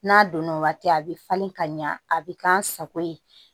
N'a donna waati a bɛ falen ka ɲa a bɛ k'an sago ye